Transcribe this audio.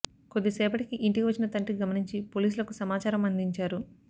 కొద్ది సేపటికి ఇంటికి వచ్చిన తండ్రి గమనించి పోలీసులకు సమాచారం అందించారు